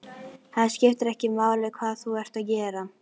Það skiptir ekki máli hvað þú ert að gera.